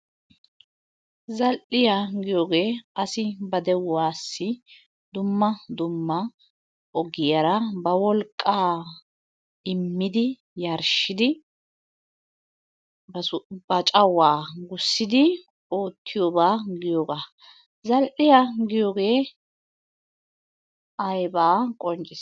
Zal'iya giyogee asi ba de'uwassi dumma dumma ogiyara bawolqqaa immidi Yarashshidi ba cawaa gussidi oottiyobaa giyogaa. Zal'iya giyoge ayibaa qonccissi?